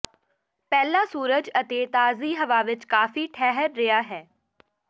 ਪਹਿਲਾ ਸੂਰਜ ਅਤੇ ਤਾਜ਼ੀ ਹਵਾ ਵਿਚ ਕਾਫੀ ਠਹਿਰ ਰਿਹਾ ਹੈ